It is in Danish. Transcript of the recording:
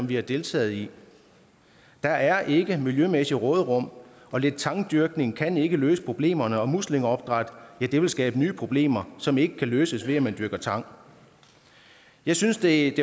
vi har deltaget i der er ikke miljømæssigt råderum og lidt tangdyrkning kan ikke løse problemerne og muslingeopdræt vil skabe nye problemer som ikke kan løses ved at dyrke tang jeg synes det